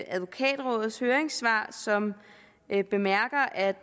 advokatrådets høringssvar som bemærker at